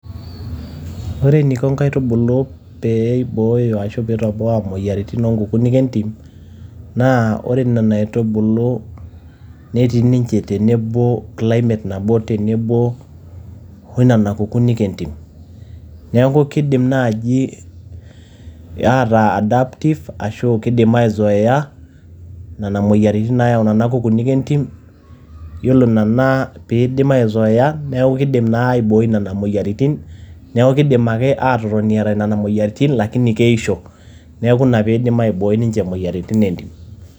Ore eniko nkaitubulu pee eibooyo ashu pe itoboa moyiaritin oo nkukunik entim naa ore nena aitubulu netii ninche tenebo climate nabo tenebo o nena kukunik entim. Niaku keidim naaji ataa adaptive ashu keidim aizoea nena moyiariti naayau nena kukunik entim .Yiolo nena pee idim aizoea niaku keidim naa aibooi nena moyiaritin, niaku keidim naake aatotoni eeta nena ropiyiani kake keisho. Niaku ina pee idim ninche aibooi nena moyiaritin entim.